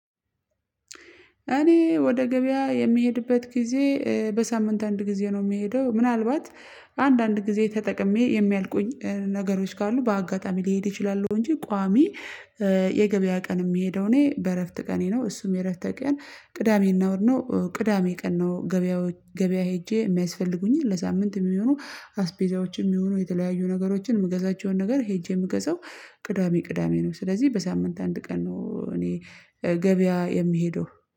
እኔ ወደ ገበያ የምሄድበት ጊዜ በሳምንት አንድ ጊዜ ነው የምሄደው ምናልባት አንዳንድ ጊዜ ተጠቅሜ የሚያልቁኝ ነገሮች ካሉ በአጋጣሚ ሊሄድ እችላለሁ ነው። እንጂ ቋሚ የገበያ ቀን የምሄደው እኔ በእረፍት ቀኔ ነው። እሱም የእረፍት ቀን ቅዳሜና እሁድ ነው ቅዳሜ ቀን ነው። ገበያ ገበያ ሄጄ የሚያስፈልጉኝን ለሳምንት የሚሆኑ አስፔዛዎችም ይሁኑ የተለያዩ ነገሮችን የምገዛቸውን ነገር ሄጄ የምገዛው ቅዳሜ ቅዳሜ ነው። ስለዚህ በሳምንት አንድ ቀን ነው እኔ ገበያ የምሄደው